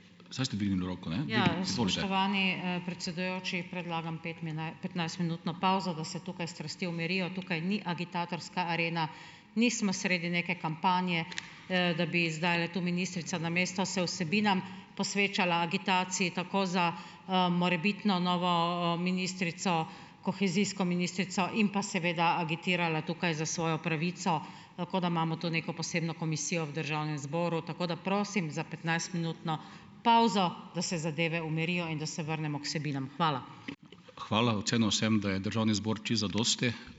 Ja, spoštovani, predsedujoči, predlagam petnajstminutno pavzo, da se tukaj strasti umirijo. Tukaj ni agitatorska arena, nismo sredi neke kampanje, da bi zdajle tu ministrica namesto se vsebinam posvečala agitaciji tako za, morebitno novo, ministrico, kohezijsko ministrico in pa seveda agitirala tukaj za svojo pravico, kot da imamo tu neko posebno komisijo v državnem zboru. Tako da prosim za petnajstminutno pavzo, da se zadeve umirijo in da se vrnemo k vsebinam. Hvala.